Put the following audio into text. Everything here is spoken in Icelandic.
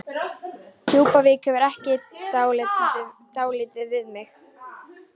Djúpuvík hefði gert dálítið við mig.